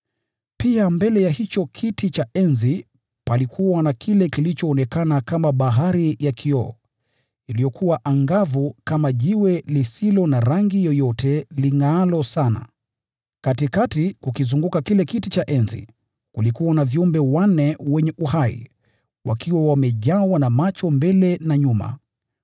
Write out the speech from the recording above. Pia mbele ya kiti cha enzi palikuwa na kile kilichoonekana kama bahari ya kioo, iliyokuwa angavu kama bilauri. Katikati, kukizunguka kile kiti cha enzi, kulikuwa na viumbe wanne wenye uhai, wakiwa wamejawa na macho mbele na nyuma.